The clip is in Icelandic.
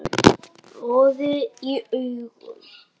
roði í augum